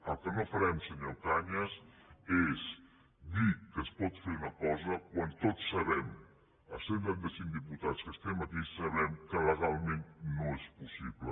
el que no farem senyor cañas és dir que es pot fer una cosa quan tots sabem els cent i trenta cinc diputats que estem aquí que legalment no és possible